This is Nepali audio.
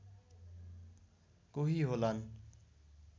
कोही होलान्